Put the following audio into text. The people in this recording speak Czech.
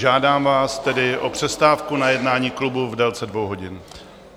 Žádám vás tedy o přestávku na jednání klubu v délce dvou hodin.